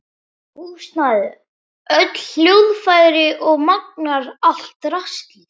Húsnæði, öll hljóðfæri og magnara, allt draslið.